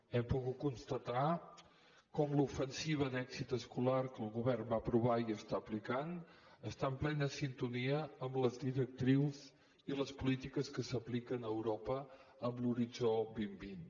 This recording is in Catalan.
hem pogut constatar com l’ofensiva d’èxit escolar que el govern va aprovar i està aplicant està en plena sintonia amb les directrius i les polítiques que s’apliquen a europa en l’horitzó dos mil vint